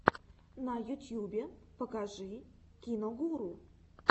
на ютьюбе покажи киногуру